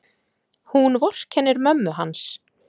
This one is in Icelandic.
Hún vorkennir mömmu hans.